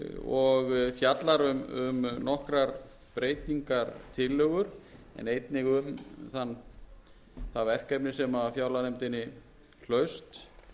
og fjallar um nokkrar breytingartillögum en einnig um það verkefni sem fjárlaganefndinni hlaust